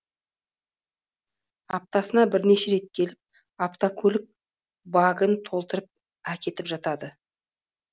аптасына бірнеше рет келіп автокөлік багін толтырып әкетіп жатады